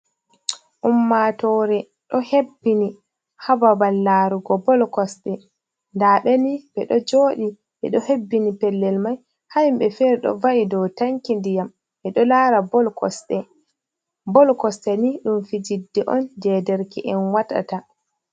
Ummatore do hebbini ha babal larugo boll kosɗe ɗa'abeni be ɗo jooɗi be ɗo hebbini pellel mai. Ha himbe fere do va’i dau tanki ndiyam be do lara boll kosɗe. Boll kosɗeni dum fijirɗe on je derke en watata.